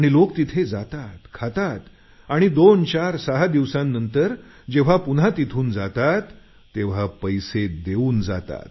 लोक तिथे जातात खातात आणि 246 दिवसांनंतर जेव्हा पुन्हा तिथून जातात तेव्हा पैसे देऊन जातात